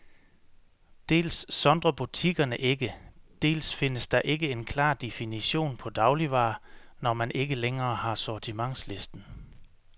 Dels sondrer butikkerne ikke, dels findes der ikke en klar definition på dagligvarer, når man ikke længere har sortimentslisten.